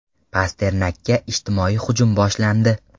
Pasternakka ijtimoiy hujum boshlandi.